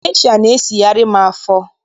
Gesha na-esigharị m afọ.